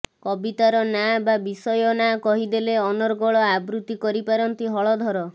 କବିତାର ନାଁ ବା ବିଷୟ ନାଁ କହିଦେଲେ ଅନର୍ଗଳ ଆବୃତି କରିପାରନ୍ତି ହଳଧର